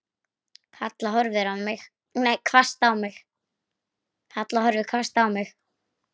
Halla horfði hvasst á mig.